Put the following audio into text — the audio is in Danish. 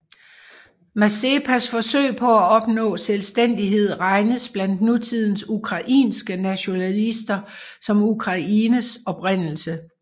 Mazepas forsøg på at opnå selvstændighed regnes blandt nutidens ukrainske nationalister som Ukraines oprindelse